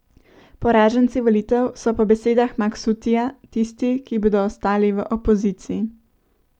Poraženci volitev so po besedah Maksutija tisti, ki bodo ostali v opoziciji.